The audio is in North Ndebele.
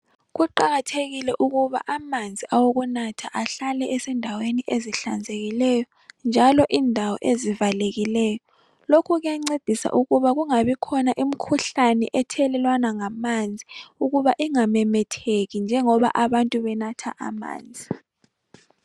Kuqakathekile ukuba amanzi awokunatha ahlale esendaweni ezihlanzekileyo njalo indawo ezivalekileyo. Lokhu kuyancedisa ukuba kungabikhona imikhuhlane ethelelwana ngamanzi ukuba ingamemetheki njengoba abantu benatha amanzi.